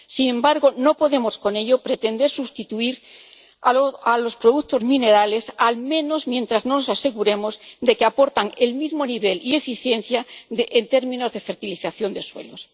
Sin embargo, no podemos con ello pretender sustituir los productos minerales, al menos mientras no nos aseguremos de que aportan el mismo nivel y eficiencia en términos de fertilización de suelos.